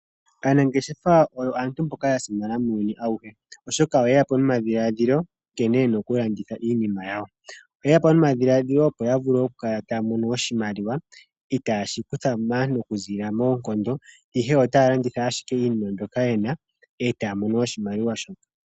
Aanangeshefa oyo aantu mboka ya simana muunyuni auhe, oshoka oye ya po nomadhiladhilo nkene yena okulanditha iinima ya wo. Oye ya po nomadhiladhilo opo ya vule okukala taya mono oshimaliwa itaashi kutha maantu okuziilila moonkondo ihe otaya landitha ashike iinima mbyoka ye na eta ya mono oshimaliwa sho.